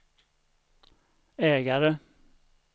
ägare